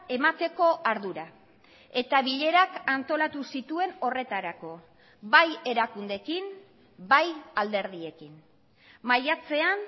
emateko ardura eta bilerak antolatu zituen horretarako bai erakundeekin bai alderdiekin maiatzean